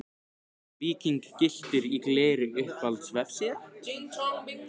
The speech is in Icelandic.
Víking gylltur í gleri Uppáhalds vefsíða?